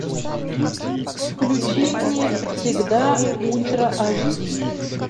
включи мне всегда ультра аш ди